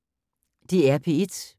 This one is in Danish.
DR P1